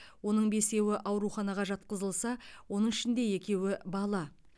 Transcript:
оның бесеуі ауруханаға жатқызылса оның ішінде екеуі бала